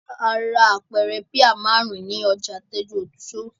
A ra apẹ̀rẹ̀ píà márùn-ún ní ọjà Tẹ́júoṣó.